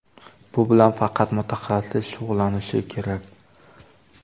Bu bilan faqat mutaxassis shug‘ullanishi kerak!